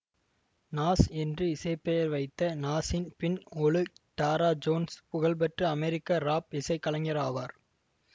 நாஸ் என்று இசை பெயர் வைத்த Nasir bin Olu Dara Jones புகழ்பெற்ற அமெரிக்க ராப் இசை கலைஞர் ஆவார்